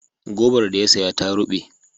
Gobar da ya saya ta ruɓe.